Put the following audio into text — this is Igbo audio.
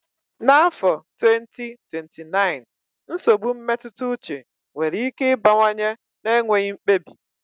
N'afọ 2029, nsogbu mmetụta uche nwere ike ịbawanye na-enweghị mkpebi.